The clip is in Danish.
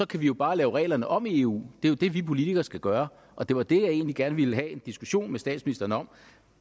kan vi jo bare lave reglerne om i eu det er jo det vi politikere skal gøre og det var det jeg egentlig gerne ville have en diskussion med statsministeren om